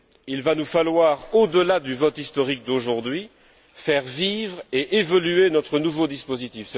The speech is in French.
Il va nous falloir, au delà du vote historique d'aujourd'hui, faire vivre et évoluer notre nouveau dispositif.